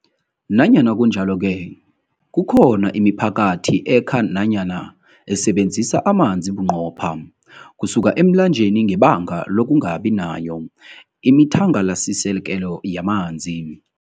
Nanyana kunjalo-ke, kukhona imiphakathi ekha nanyana esebenzisa amanzi bunqopha kusuka emlanjeni ngebanga lokungabi nayo imithangalasisekelo yamanzi.